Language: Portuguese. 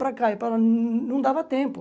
Para cá e para lá, não não dava tempo.